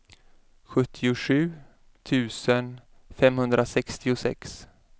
sjuttiosju tusen femhundrasextiosex